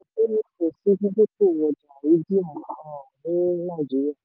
kò sí ẹnikẹ́ni tó nífẹ̀ẹ́ sí dídókòwò ọjà àrídìmú um ní nàìjíríà.